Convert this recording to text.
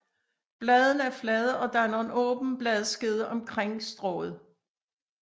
Bladene er flade og danner en åben bladskede omkring strået